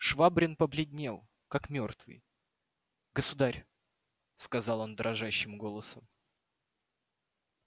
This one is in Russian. швабрин побледнел как мёртвый государь сказал он дрожащим голосом